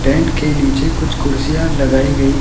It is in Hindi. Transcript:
टेंट के नीचे कुछ कुर्सियां लगाई गई--